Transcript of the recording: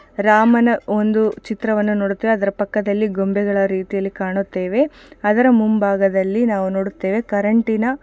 ರಾಮನ ಒಂದು ಚಿತ್ರವನ್ನು ನೋಡುತ್ತೇವೆ ಅದರ ಪಕ್ಕದಲ್ಲಿ ಗೊಂಬೆಗಳ ರೀತಿಯಲ್ಲಿ ಕಾಣುತ್ತೇವೆ ಅದರ ಮುಂಬಾಗದಲ್ಲಿ ನಾವು ನೋಡುತ್ತೇವೆ ಕರೆಂಟಿನ --